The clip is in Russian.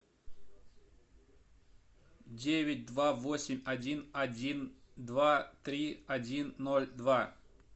девять два восемь один один два три один ноль два